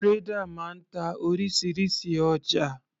Trader máa ń ta orísirísi ọjà.